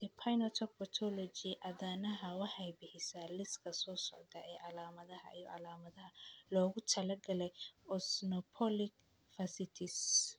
The Phenotype Ontology aadanaha waxay bixisaa liiska soo socda ee calaamadaha iyo calaamadaha loogu talagalay Eosinophilic fasciitis.